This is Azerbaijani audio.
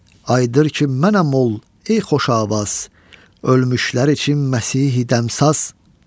Ayıdır ki, mənəm ol, ey xoşavaz, ölmüşlərə ki, Məsihi dəmsaz.